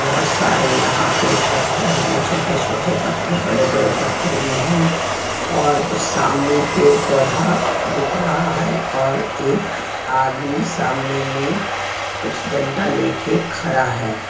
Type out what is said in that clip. बोहोत सारे यहाँ पे पत्थर हे छोटे छोटे पत्थर बड़े बड़े पत्थर भी हे और सामने पेड़ पौधा दिख रहा हे और एक आदमी सामने मे कुछ डंडा लेके खड़ा हे.